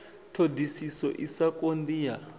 ṱhoḓisiso i sa konḓi ya